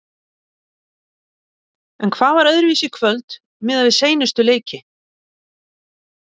En hvað var öðruvísi í kvöld miðað við seinustu leiki?